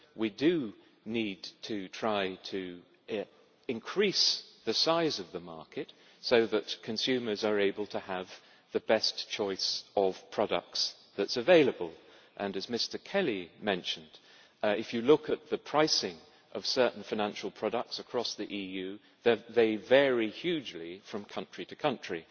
We do need to try to increase the size of the market so that consumers are able to have the best choice of products that is available and, as Mr Kelly mentioned, if you look at the pricing of certain financial products across the EU, they vary hugely from country to country.